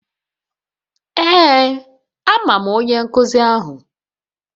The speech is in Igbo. Ee amam onye nkuzi ahu.